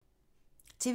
TV 2